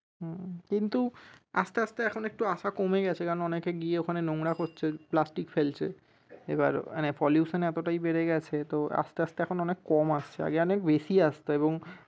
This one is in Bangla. হম কিন্তু আস্তে আস্তে এখন একটু আসা কমে গেছে কারন অনেকে গিয়ে ওখানে নোংরা করছে প্লাস্টিক ফেলছে এবার এখানে pollution এতটাই বেড়ে গেছে তো আস্তে আস্তে এখন অনেক কম আসছে আগে অনেক বেশী আসত এবং